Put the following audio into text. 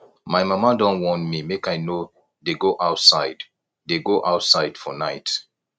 my mama don warn me make i no dey go outside dey go outside for night